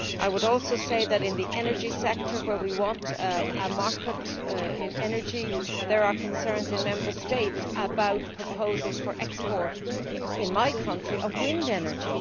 I would also say that, in the energy sector, where we want a market in energy, there are concerns in Member States about proposals for export of energy in my country specifically wind energy.